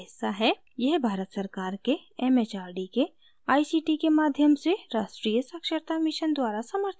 यह भारत सरकार के it it आर डी के आई सी टी के माध्यम से राष्ट्रीय साक्षरता mission द्वारा समर्थित है